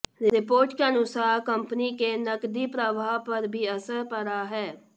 report के अनुसार company के नकदी प्रवाह पर भी असर पड़ा है